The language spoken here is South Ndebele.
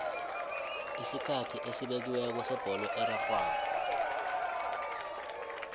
isikhathi esibekiweko sebholo erarhwako